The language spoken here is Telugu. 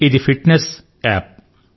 ఇది ఫిట్నెస్ అనువర్తనం